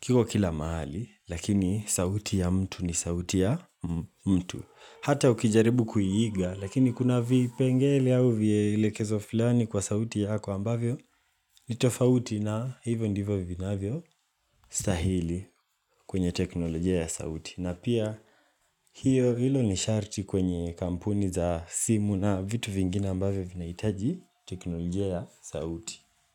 kiko kila mahali, lakini sauti ya mtu ni sauti ya mtu. Hata ukijaribu kuiiga, lakini kuna vipengele au vielekezo fulani kwa sauti yako ambavyo, nitofauti na hivyo ndivyo vinaavyostahili kwenye teknolojia ya sauti. Na pia hiyo hilo ni sharti kwenye kampuni za simu na vitu vingine ambavyo vinaitaji teknolojia ya sauti.